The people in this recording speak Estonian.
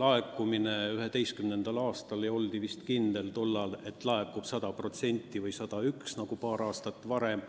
laekumist 2011. aastal ja oldi vist kindel, et neid laekub 100% või 101% eeldatust nagu paar aastat varem.